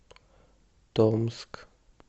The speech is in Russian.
томск